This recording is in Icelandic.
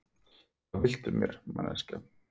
Hvað viltu mér, manneskja?